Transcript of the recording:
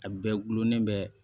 A bɛɛ gulonnen bɛ